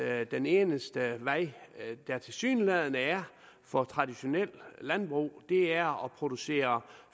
at den eneste vej der tilsyneladende er for traditionelt landbrug er at producere